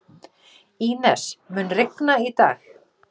Ínes, mun rigna í dag?